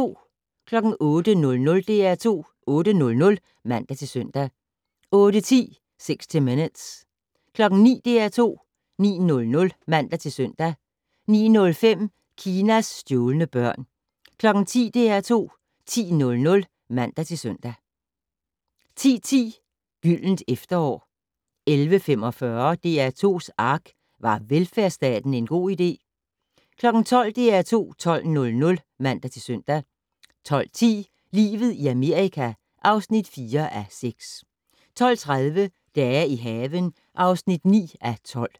08:00: DR2 8:00 (man-søn) 08:10: 60 Minutes 09:00: DR2 9:00 (man-søn) 09:05: Kinas stjålne børn 10:00: DR2 10:00 (man-søn) 10:10: Gyldent efterår 11:45: DR2's ARK - Var velfærdsstaten en god idé? 12:00: DR2 12:00 (man-søn) 12:10: Livet i Amerika (4:6) 12:30: Dage i haven (9:12)